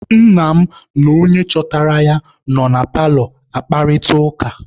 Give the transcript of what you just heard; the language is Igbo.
Nna m na onye chọtara ya nọ na paalọ akparịta ụka.